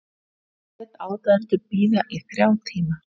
Lét aðdáendur bíða í þrjá tíma